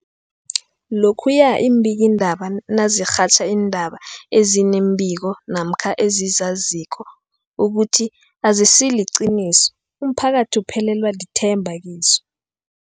Lokhuya iimbikiindaba nazirhatjha iindaba ezinga nembiko namkha ezizaziko ukuthi azisiliqiniso, umphakathi uphelelwa lithemba kizo.